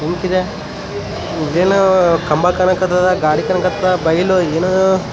link ಇದೆ ಇಲ್ಲೇನು ಕಂಬ ಕಣಕ್ ಹತ್ತದ ಗಾಡಿ ಕಣಕ್ ಹತ್ತದ ಬೈಲು ಏನು --